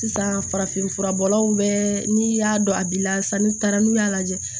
Sisan farafin furabɔlaw bɛ n'i y'a dɔn a b'i lasani taara n'u y'a lajɛ